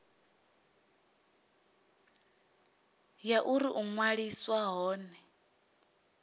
ya uri u ṅwaliswa hone